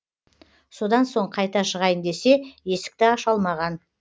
содан соң қайта шығайын десе есікті аша алмаған